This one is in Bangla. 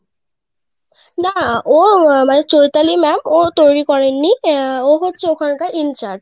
না ও আমার চৈতালি ma'am ও তৈরি করেন নি ও হচ্ছে ওখান কার in charge.